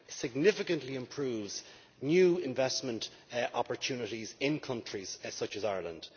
significantly improves new investment opportunities in countries such as Ireland.